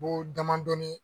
bo damadɔnin